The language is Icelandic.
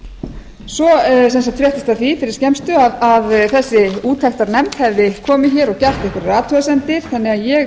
okkar svo fréttist af því fyrir skemmstu að þessi úttektarnefnd hefði komið hér og gert einhverjar athugasemdir þannig að ég